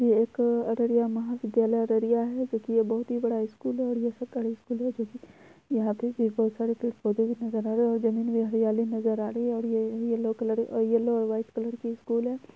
एक अररिया महाविद्यालय अररिया है जो की बहुत बड़ा स्कूल है। स्कूल है जो की और जमीन पे हरयाली नजर आ रही है। और ये येलो कलर येलो और वाइट कलर की स्कूल है।